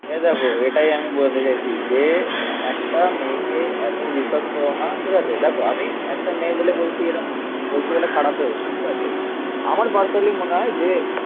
এ দেখো এটাই আমি বলতে চাইছি যে একটা মেয়েকে এতো বিশ্বাস করো না. ঠিক আছে? দেখো আমি. একটা মেয়ে বলে বলছি এরকম বলছি বলে খারাপ দেব না. ঠিক আছে আমার পার্সোনালি মনে হয় যে